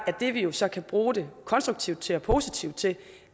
det vi vi så kan bruge det konstruktivt og positivt til